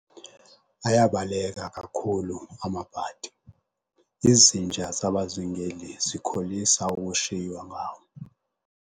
Ayabaleka kakhulu amabhadi, izinja zabazingeli zikholisa ukushiywa ngawo.